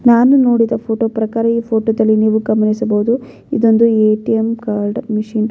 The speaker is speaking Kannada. ನಾನು ನೋಡಿದ ಫೋಟೋ ಪ್ರಕಾರ ಈ ಫೋಟೋದಲ್ಲಿ ನೀವು ಗಮನಿಸಬಹುದು ಇದೊಂದು ಎ.ಟಿ.ಎಮ್ ಕಾರ್ಡ್ ಮಿಷಿನ್ .